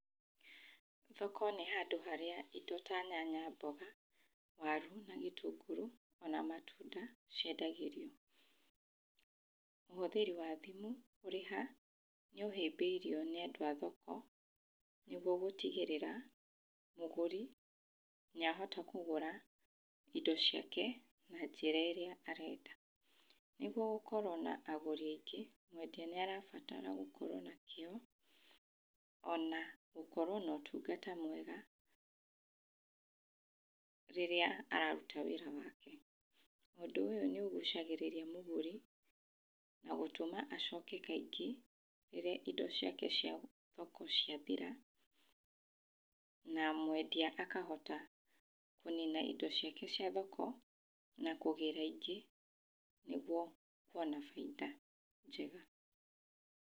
Thoko nĩ handũ harĩa indo ta nyanya, mboga, waru na gĩtũngũrũ ona matunda ciendagĩrio. Ũhũthĩri wa thimũ kũrĩha nĩ ũhĩmbĩirio nĩ andũ athoko nĩ guo gũtigĩrĩra mũgũri nĩ ahota kũgũra indo ciake na njĩra ĩrĩa arenda. Nĩguo gũkorwo na agũri aingĩ, mwendia nĩ arabatara gũkorwo na kĩo ona gũkorwo no ũtungata mwega rĩrĩa araruta wĩra wake. Ũndũ ũyũ nĩ ũgucagĩrĩria mũgũri na gũtũma acoke kaingĩ rĩrĩa indo ciake cia thoko ciathira na mwendia akahota kũnina indo ciake cia thoko na kũgĩra ingĩ nĩguo kuona bainda njega.